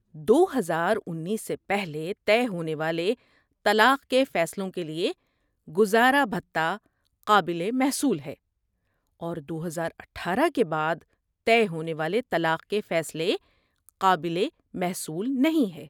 دو ہزار انیس سے پہلے طے ہونے والے طلاق کے فیصلوں کے لیے گزارا بھتہ قابل محصول ہے اور دو ہزار اٹھارہ کے بعد طے ہونے والے طلاق کے فیصلے قابل محصول نہیں ہے